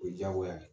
O ye diyagoya ye